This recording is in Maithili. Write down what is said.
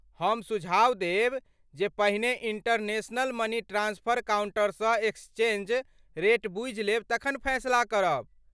हम सुझाव देब जे पहिने इंटरनेशनल मनी ट्रांस्फर काउंटरसँ एक्सचेंज रेट बूझि लेब तखन फैसला करब।